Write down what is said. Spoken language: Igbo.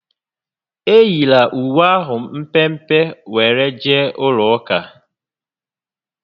Eyila uwe ahụ mpempe were jee ụlọ ụka!